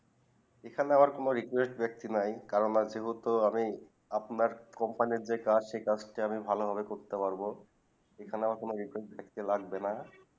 এখানে আমার কোনো request ব্যাক্তি নাই কারণ আর যেহেতু আমি আপনার Company যে কাজ সেই কাজ টি আমি ভালো ভাবে করতে পারবো এখানে আমার কোনো request কোনো থাকবে না